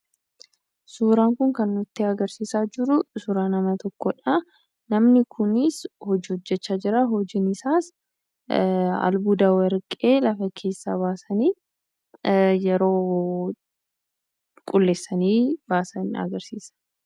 Suuraan Kun kan agarsiisa jiru suuraa nama tokkoodhaa namni Kunis hojii hojjechaa jira hojiin isaas albuuda warqee lafa keessaa baasanii yeroo qulqulleessanii baasan agarsiisa.